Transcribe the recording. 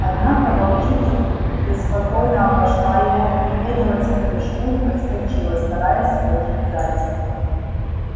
однако волчица преспокойно обошла его примерилась к прыжку и подскочила стараясь схватить зайца